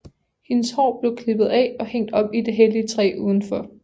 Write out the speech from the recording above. Hendes hår blev klippet af og hængt op i det hellige træ udenfor